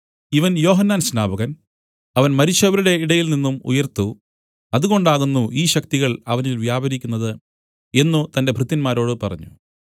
ഇവൻ യോഹന്നാൻ സ്നാപകൻ അവൻ മരിച്ചവരുടെ ഇടയിൽനിന്നും ഉയിർത്തു അതുകൊണ്ടാകുന്നു ഈ ശക്തികൾ അവനിൽ വ്യാപരിക്കുന്നത് എന്നു തന്റെ ഭൃത്യന്മാരോടു പറഞ്ഞു